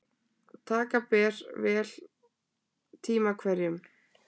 Taka ber vel tíma hverjum.